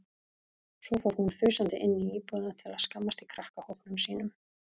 Svo fór hún þusandi inn í íbúðina til að skammast í krakkahópnum sínum.